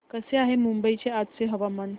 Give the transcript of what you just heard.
कसे आहे मुंबई चे आजचे हवामान